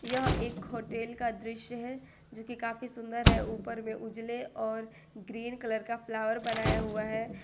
यह एक होटल का दृश्य है जो की काफी सुंदर है ऊपर में उजले और ग्रीन कलर का फ्लावर बनाया हुआ है।